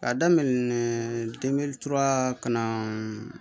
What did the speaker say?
Ka daminɛ ka na